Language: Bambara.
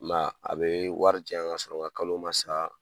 I ma ye a, a be wari di yan ka sɔrɔ n ka kalo ma sa